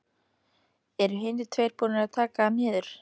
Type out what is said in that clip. Eru hinir tveir búnir að taka hann niður.